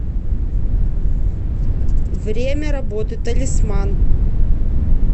время работы талисман